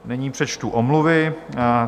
Nyní přečtu omluvy.